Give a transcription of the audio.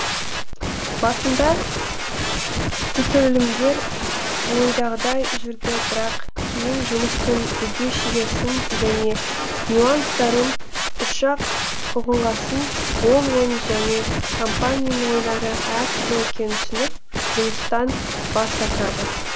басында түсірілімдер ойдағыдай жүрді бірақ кейін жұмыстың бүге шегесін және нюанстарын үш ак ұғынғасын ол оның және компанияның ойлары әр түрлі екенін түсініп жұмыстан бас тартады